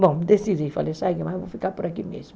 Bom, decidi, falei, sabe o que mais, vou ficar por aqui mesmo.